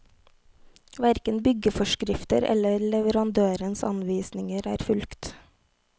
Hverken byggeforskrifter eller leverandørens anvisninger er fulgt.